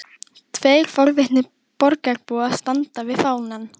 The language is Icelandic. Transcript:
Tveir forvitnir borgarbúar standa við fánann.